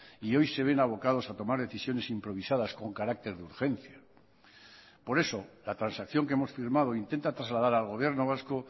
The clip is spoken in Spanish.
y hoy se ven abocados a tomar decisiones improvisadas con carácter de urgencia por eso la transacción que hemos firmado intenta trasladar al gobierno vasco